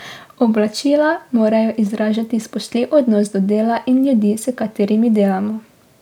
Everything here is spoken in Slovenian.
Oblačila morajo izražati spoštljiv odnos do dela in ljudi, s katerimi delamo.